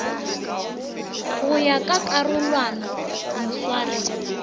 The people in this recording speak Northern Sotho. go ya ka karolwana moswari